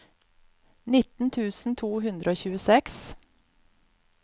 nitten tusen to hundre og tjueseks